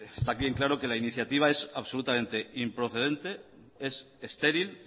está bien claro que la iniciativa es absolutamente improcedente es estéril